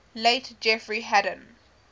late jeffrey hadden